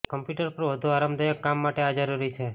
computer પર વધુ આરામદાયક કામ માટે આ જરૂરી છે